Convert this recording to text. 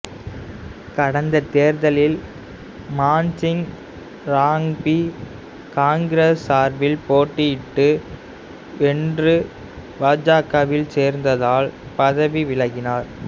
கடந்த தேர்தலில் மான்சிங் ராங்பி காங்கிரசு சார்பில் போட்டியிட்டு வென்று பாசகவில் சேர்ந்ததால் பதவி விலகினார்